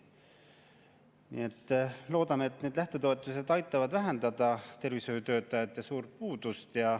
Nii et loodame, et need lähtetoetused aitavad vähendada suurt tervishoiutöötajate puudust.